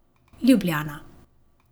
Ljubljana.